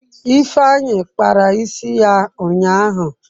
Ifeanyi kpara isi ya ụnyahụ.